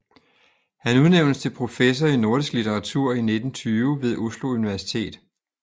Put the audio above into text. Han udnævnes til professor i nordisk litteratur i 1920 ved Oslo Universitet